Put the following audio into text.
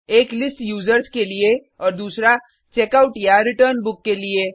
एक list users के लिए और दूसरा checkoutरिटर्न बुक के लिए